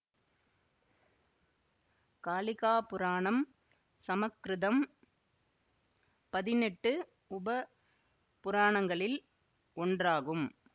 காளிகா புராணம் சமக்கிருதம் பதினெட்டு உப புராணங்களில் ஒன்றாகும்